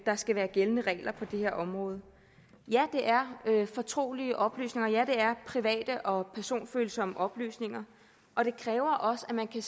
skal være gældende regler på det her område ja det er fortrolige oplysninger og ja det er private og personfølsomme oplysninger og det kræver også at man kan